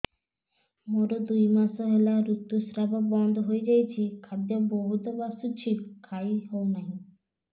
ମୋର ଦୁଇ ମାସ ହେଲା ଋତୁ ସ୍ରାବ ବନ୍ଦ ହେଇଯାଇଛି ଖାଦ୍ୟ ବହୁତ ବାସୁଛି ଖାଇ ହଉ ନାହିଁ